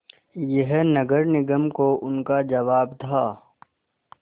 यह नगर निगम को उनका जवाब था